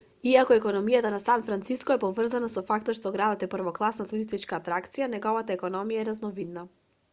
иако економијата на сан франциско е поврзана со фактот што градот е првокласна туристичка атракција неговата економија е разновидна